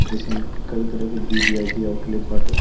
जइसन कई तरह के बी वी.आई.पी. आउटलेट बाटे।